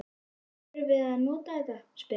Þurfið þið að nota þetta? spyr hann.